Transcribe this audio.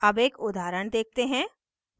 अब एक उदाहरण देखते हैं